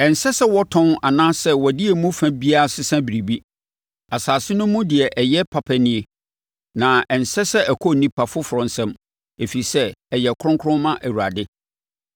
Ɛnsɛ sɛ wɔtɔn anaasɛ wɔde emu fa biara sesa biribi. Asase no mu deɛ ɛyɛ papa nie, na ɛnsɛ sɛ ɛkɔ onipa foforɔ nsam, ɛfiri sɛ ɛyɛ kronkron ma Awurade.